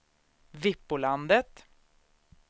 Vikbolandet